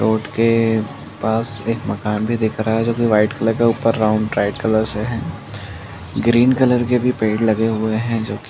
Road के पास एक मकान भी दिख रहा है जोकि व्हाइट कलर के ऊपर राउन्ड ब्राइट कलर से है। ग्रीन कलर के पेड़ भी लगे हुए हैं जोकि --